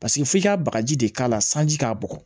Paseke f'i ka bagaji de k'a la sanji k'a bugɔ